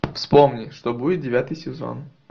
вспомни что будет девятый сезон